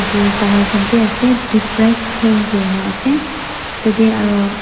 tae dawai khan vi ase toothbrush hang kuri asa tatey aru.